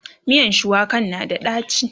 miyan shuwakan na da daci